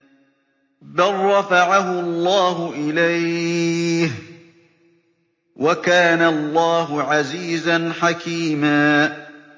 بَل رَّفَعَهُ اللَّهُ إِلَيْهِ ۚ وَكَانَ اللَّهُ عَزِيزًا حَكِيمًا